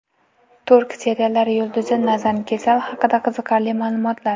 Turk seriallari yulduzi Nazan Kesal haqida qiziqarli ma’lumotlar.